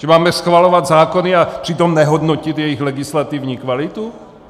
Že máme schvalovat zákony a přitom nehodnotit jejich legislativní kvalitu?